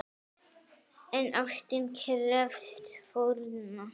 En ástin krefst fórna!